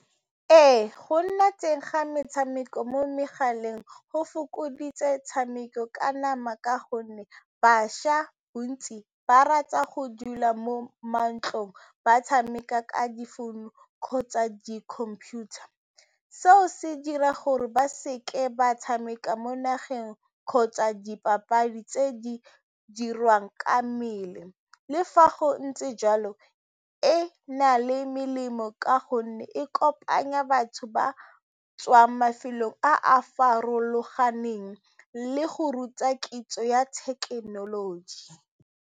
Ee, go nna teng ga metshameko mo megaleng go fokoditse 'tshameko ka nama ka gonne bašwa bontsi ba rata go dula mo mantlong ba tshameka ka difounu kgotsa di-computer, seo se dira gore ba seke ba tshameka mo nageng kgotsa dipapadi tse di dirwang ka mmele. Le fa go ntse jalo, e na le melemo ka gonne e kopanya batho ba tswang mafelong a a farologaneng le go ruta kitso ya thekenoloji.